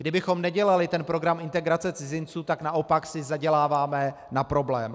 Kdybychom nedělali ten program integrace cizinců, tak naopak si zaděláváme na problém.